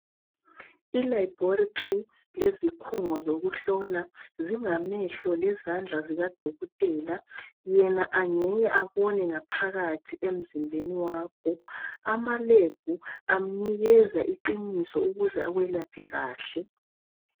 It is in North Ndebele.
Ilaboratory leziphungo zokuhlola zingamehlo lezandla zikadokotela, yena angeke abone ngaphakathi emzimbeni wakho. Amalebhu amnikeza iqiniso ukuze akwelaphe kahle.